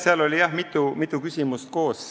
Seal oli jah mitu küsimust koos.